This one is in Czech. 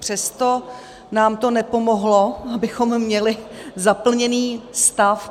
Přesto nám to nepomohlo, abychom měli zaplněný stav.